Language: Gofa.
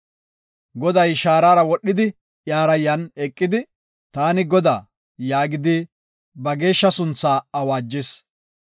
Goday shaarara wodhidi, iyara yan eqidi, “Taani Godaa” yaagidi ba geeshsha sunthaa awaajis.